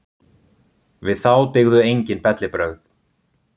Við þá dygðu enginn bellibrögð.